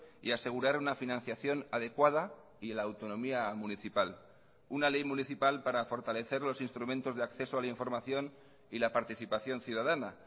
y asegurar una financiación adecuada y la autonomía municipal una ley municipal para fortalecer los instrumentos de acceso a la información y la participación ciudadana